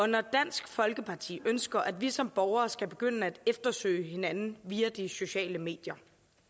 når dansk folkeparti ønsker at vi som borgere skal begynde at eftersøge hinanden via de sociale medier